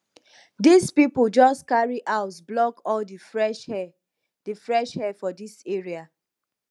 dis pipo jus carry house block all di fresh air di fresh air for dis area